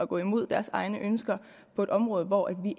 går imod deres egne ønsker på et område hvor vi